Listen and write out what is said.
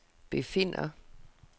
befinder